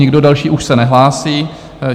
Nikdo další už se nehlásí.